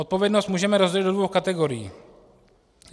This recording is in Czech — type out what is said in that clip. Odpovědnost můžeme rozdělit do dvou kategorií.